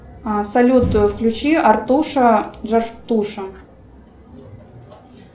салют включи артуша джартуша